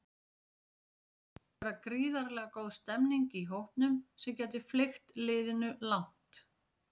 Svo virðist vera gríðarlega góð stemmning í hópnum sem gæti fleygt liðinu langt.